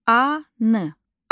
An.